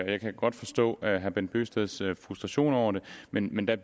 jeg kan godt forstå herre bent bøgsteds frustration over det men men der